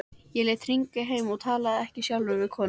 Ég lét hringja heim en talaði ekki sjálfur við konuna.